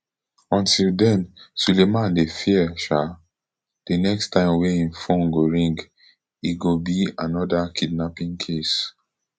until den sulaiman dey fear um di next time wey im phone go ring e go be anoda kidnapping case